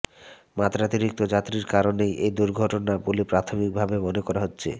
মাত্রাতিরিক্ত যাত্রীর কারণেই এই দুর্ঘটনা বলে প্রাথমিকভাবে মনে করা হচ্ছে